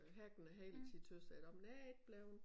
Øh hacken og hele tiden tøs jeg nåmen jeg er ikke bleven